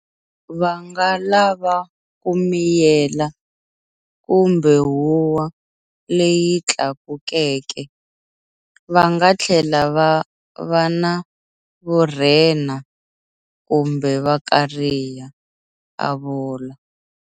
Va nga lava ku miyela kumbe huwa leyi tlakukeke. Va nga tlhela va va na vurhena kumbe va kariha, a vula.